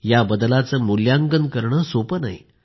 या बदलाचे मूल्यांकन करणे सोपे नाही